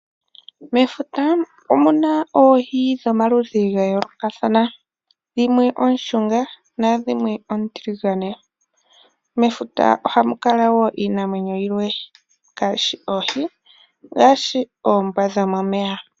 Mefuta omuna oohi dhomaludhi gayoolokathana dhimwe oonshunga nadhimwe oontiligane. Mefuta ohamu kala wo iinamwenyo yilwe ngaashi oohi, ngaashi oombwa dhomomeya.